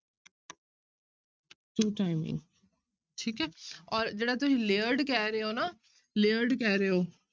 Two timing ਠੀਕ ਹੈ ਔਰ ਜਿਹੜਾ ਤੁਸੀਂ layered ਕਹਿ ਰਹੇ ਹੋ ਨਾ layered ਕਹਿ ਰਹੇ ਹੋ।